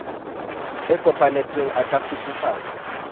e kopanetsweng e ka kgutsufatsa